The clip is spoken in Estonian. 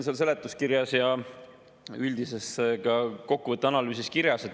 See on seletuskirjas ja üldises analüüsi kokkuvõttes kirjas.